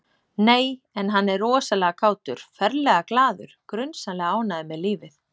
Nei, en hann er rosalega kátur, ferlega glaður, grunsamlega ánægður með lífið